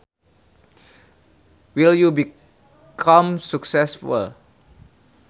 Will you become successful